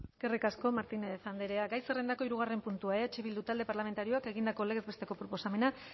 eskerrik asko martínez andrea gai zerrendako hirugarren puntua eh bildu talde parlamentarioak egindako legez besteko proposamena